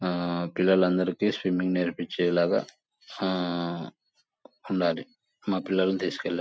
అహ్హ్ పిల్లలు అందరికి స్విమ్మింగ్ నేర్పిచేలాగా అహ్హ్ ఉండాలి. మా పిల్లలు అంతీసుకెళ్లి --